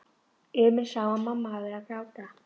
Emil sá að mamma hafði verið að gráta.